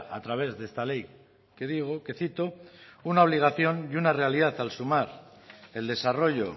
a través de esta ley que digo que cito una obligación y una realidad al sumar el desarrollo